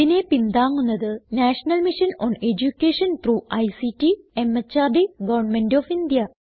ഇതിനെ പിന്താങ്ങുന്നത് national mission on education through ICT MHRD government of India